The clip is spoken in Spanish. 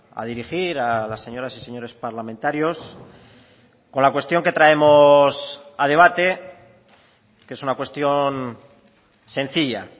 a dirigir a las señoras y señores parlamentarios con la cuestión que traemos a debate que es una cuestión sencilla